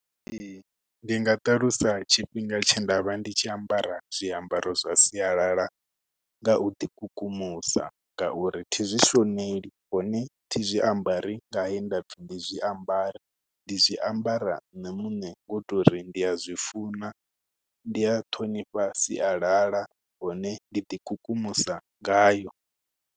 Ee, ndi nga ṱalusa tshifhinga tshe ndavha ndi tshi ambara zwiambaro zwa sialala nga u ḓi kukumusa, nga uri thi zwi shoneli, hone thi zwi ambari nge he nda pfi ndi zwi ambare. Ndi zwiambara nṋe muṋe, ngo to uri ndi a zwi funa, ndi a ṱhonifha sialala, hone ndi ḓi kukumusa ngayo.